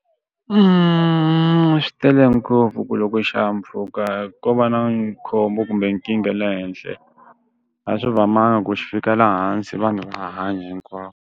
swi tele ngopfu ku loko xihahampfhuka ko va na khombo kumbe nkingha le henhla a swi lulamanga ku xi fika laha hansi va ngaha hanyi hinkwavo.